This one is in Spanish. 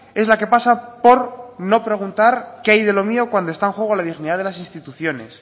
es la que pasa por no preguntar qué hay de lo mío cuando está en juego la dignidad de las instituciones